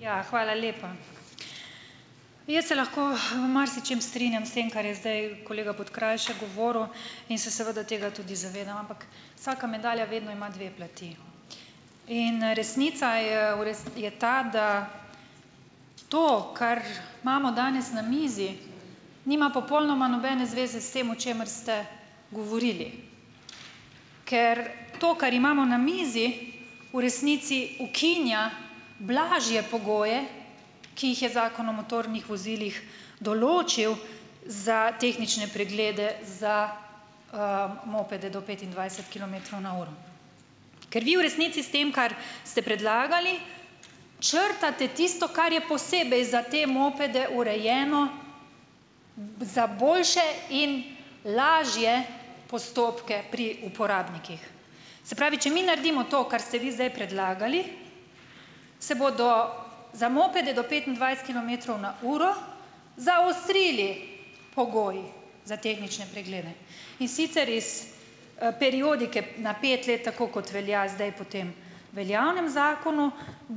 Ja, hvala lepa. Jaz se lahko se v marsičem strinjam s tem, ker je zdaj kolega Podkrajšek govoril, in se seveda tega tudi zavedam, ampak vsaka medalja vedno ima dve plati. In, resnica je v je ta, da to, kar imamo danes na mizi, nima popolnoma nobene zveze s tem, o čemer ste govorili. Ker to, kar imamo na mizi, v resnici ukinja blažje pogoje, ki jih je Zakon o motornih vozilih določil za tehnične preglede za, mopede do petindvajset kilometrov na uro. Ker vi v resnici s tem, kar ste predlagali, črtate tisto, kar je posebej za te mopede urejeno za boljše in lažje postopke pri uporabnikih. Se pravi, če mi naredimo to, kar ste vi zdaj predlagali, se bodo za mopede do petindvajset kilometrov na uro zaostrili pogoji za tehnične preglede, in sicer iz, periodike na pet let, tako kot velja zdaj po tem veljavnem zakonu,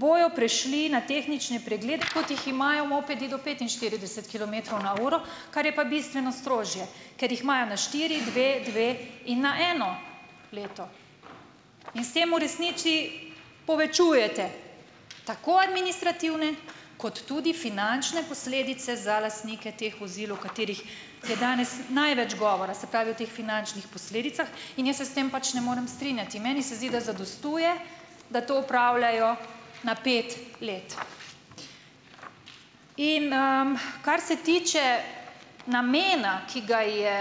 bojo prišli na tehnične preglede, kot jih imajo mopedi do petinštirideset kilometrov na uro, kar je pa bistveno strožje, ker jih imajo na štiri, dve, dve in na eno leto. In s tem v resnici povečujete tako administrativne kot tudi finančne posledice za lastnike teh vozil, v katerih je danes največ govora, se pravi, o teh finančnih posledicah. In jaz se s tem pač ne morem strinjati, meni se zdi, da zadostuje, da to opravljajo na pet let. In, Kar se tiče namena, ki ga je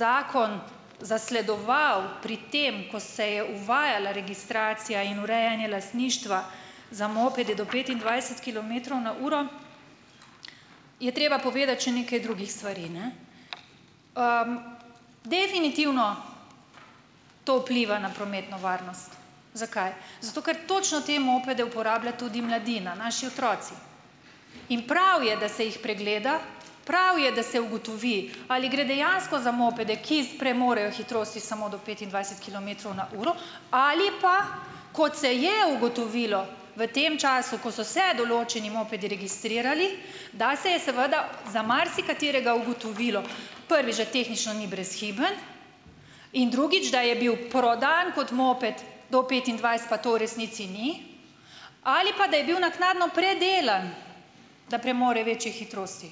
zakon zasledoval pri tem, ko se je uvajala registracija in urejanje lastništva za mopede do petindvajset kilometrov na uro, je treba povedati še nekaj drugih stvari, ne. Definitivno to vpliva na prometno varnost. Zakaj? Zato, ker točno te mopede uporablja tudi mladina, naši otroci. In prav je, da se jih pregleda, prav je, da se ugotovi, ali gre dejansko za mopede, ki premorejo hitrosti samo do petindvajset kilometrov na uro, ali pa, kot se je ugotovilo v tem času, ko so se določeni mopedi registrirali, da se je seveda za marsikaterega ugotovilo - prvič, da tehnično ni brezhiben, in drugič, da je bil prodan kot moped do petindvajset, pa to v resnici ni. Ali pa da je bil naknadno predelan, da premore večje hitrosti.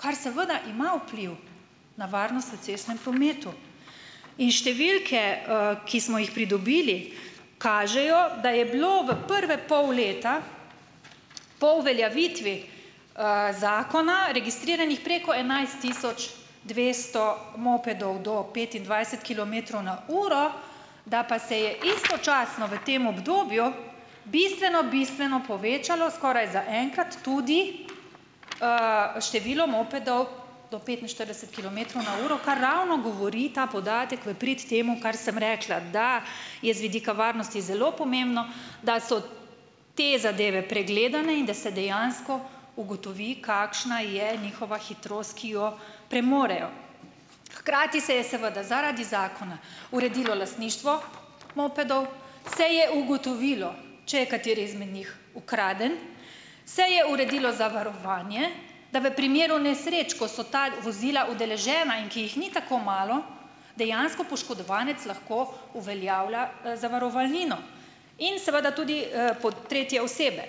Kar seveda ima vpliv na varnost v cestnem prometu. In številke, ki smo jih pridobili, kažejo, da je bilo v prve pol leta po uveljavitvi, zakona registriranih preko enajst tisoč dvesto mopedov do petindvajset kilometrov na uro, da pa se je istočasno v tem obdobju bistveno, bistveno povečalo - skoraj za enkrat - tudi, število mopedov do petinštirideset kilometrov na uro, kar ravno govori, ta podatek, v prid temu, kar sem rekla. Da je z vidika varnosti zelo pomembno, da so te zadeve pregledane in da se dejansko ugotovi, kakšna je njihova hitrost, ki jo premorejo. Hkrati se je seveda zaradi zakona uredilo lastništvo mopedov, se je ugotovilo, če je kateri izmed njih ukraden, se je uredilo zavarovanje, da v primeru nesreč, ko so ta vozila udeležena, in ki jih ni tako malo, dejansko poškodovanec lahko uveljavlja, zavarovalnino. In seveda tudi, tretje osebe.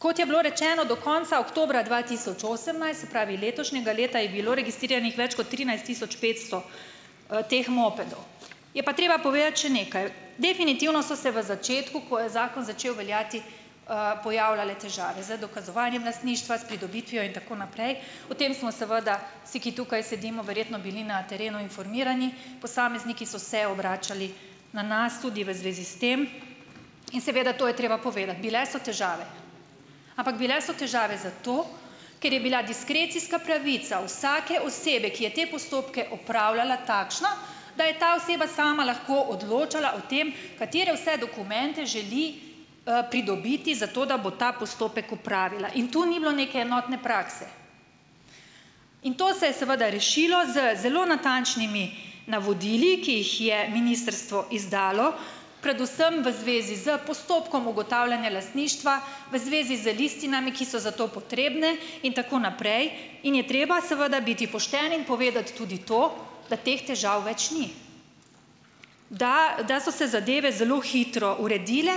Kot je bilo rečeno, do konca oktobra dva tisoč osemnajst, se pravi letošnjega leta, je bilo registriranih več kot trinajst tisoč petsto, teh mopedov. Je pa treba povedati še nekaj. Definitivno so se v začetku, ko je zakon začel veljati, pojavljale težave. Z dokazovanjem lastništva, s pridobitvijo in tako naprej, o tem smo seveda vsi, ki tukaj sedimo, verjetno bili na terenu informirani. Posamezniki so se obračali na nas tudi v zvezi s tem. In seveda to je treba povedati - bile so težave. Ampak bile so težave zato, ker je bila diskrecijska pravica vsake osebe, ki je te postopke opravljala, takšna, da je ta oseba sama lahko odločala o tem, katere vse dokumente želi, pridobiti za to, da bo ta postopek opravila. In tu ni bilo neke enotne prakse. In to se je seveda rešilo z zelo natančnimi navodili, ki jih je ministrstvo izdalo, predvsem v zvezi s postopkom ugotavljanja lastništva, v zvezi z listinami, ki so za to potrebne, in tako naprej in je treba seveda biti pošten in povedati tudi to, da teh težav več ni. Da da so se zadeve zelo hitro uredile,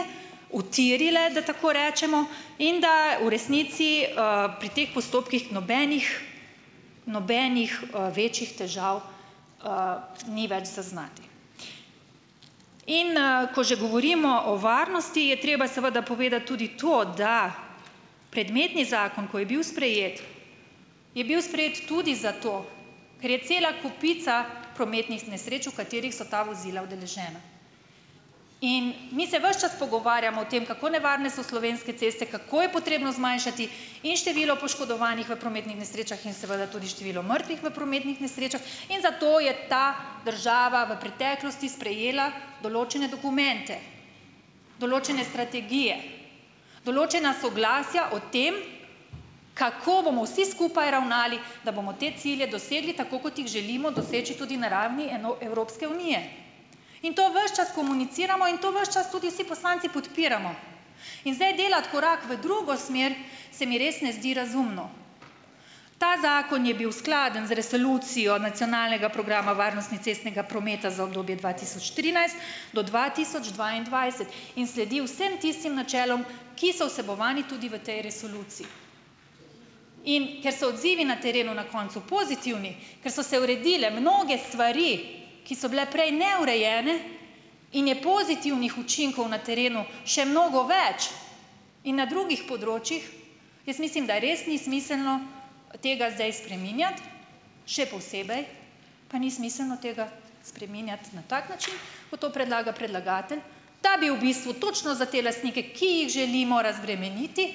utirile, da tako rečemo, in da v resnici, pri teh postopkih nobenih nobenih, večjih težav, ni več zaznati. In, ko že govorimo o varnosti, je treba seveda povedati tudi to, da predmetni zakon, ko je bil sprejet, je bil sprejet tudi zato, ker je cela kopica prometnih nesreč, v katerih so ta vozila udeležena. In mi se ves čas pogovarjamo o tem, kako nevarne so slovenske ceste, kako je potrebno zmanjšati in število poškodovanih v prometnih nesrečah in seveda tudi število mrtvih v prometnih nesrečah in zato je ta država v preteklosti sprejela določene dokumente. Določene strategije. Določena soglasja o tem, kako bomo vsi skupaj ravnali, da bomo te cilje dosegli, tako kot jih želimo doseči tudi na ravni Evropske unije. In to ves čas komuniciramo in to ves čas tudi vsi poslanci podpiramo. In zdaj delati korak v drugo smer se mi res ne zdi razumno. Ta zakon je bil skladen z Resolucijo nacionalnega programa varnosti cestnega prometa za obdobje dva tisoč trinajst do dva tisoč dvaindvajset. In sledi vsem tistim načelom, ki so vsebovani tudi v tej resoluciji. In ker so odzivi na terenu na koncu pozitivni, ker so se uredile mnoge stvari, ki so bile prej neurejene, in je pozitivnih učinkov na terenu še mnogo več in na drugih področjih, jaz mislim, da res ni smiselno tega zdaj spreminjati. Še posebej pa ni smiselno tega spreminjati na tak način, kot to predlaga predlagatelj, da bi v bistvu točno za te lastnike, ki jih želimo razbremeniti,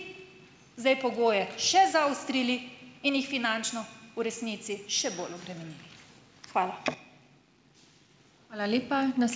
zdaj pogoje še zaostrili in jih finančno v resnici še bolj obremenili. Hvala.